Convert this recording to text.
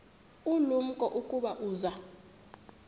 ulumko ukuba uza